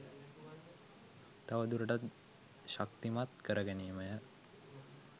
තවදුරටත් ශක්තිමත් කරගැනීමය